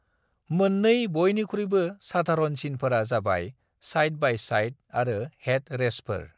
मोन्नै बयनिख्रुयबो साधारनसिनफोरा जाबाय साइड-बाय-साइड आरो हेड रेसफोर।